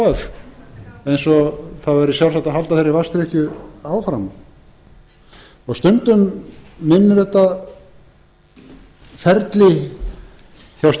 f eins og það væri sjálfsagt að halda þeirri vatnsdrykkju áfram stundum minnir þetta ferli hjá